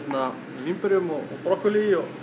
vínberjum og brokkolí og